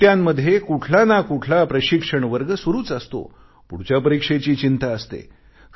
सुट्ट्यांमध्येही कुठला ना कुठला प्रशिक्षण वर्ग सुरूच असतो पुढच्या परीक्षेची चिंता असते